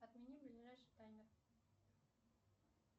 отмени ближайший таймер